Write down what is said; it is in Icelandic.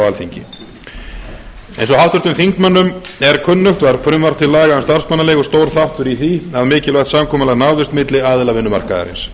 alþingi eins og háttvirtum þingmönnum er kunnugt var frumvarp til laga um starfsmannaleigur stór þáttur í því að mikilvægt samkomulag náðist milli aðila vinnumarkaðarins